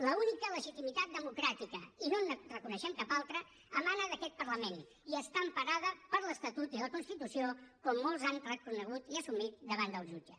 l’única legitimitat democràtica i no en reconeixem cap altra emana d’aquest parlament i està emparada per l’estatut i la constitució com molts han reconegut i assumit davant del jutge